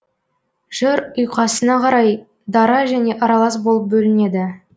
жыр ұйқасына қарай дара және аралас болып бөлінеді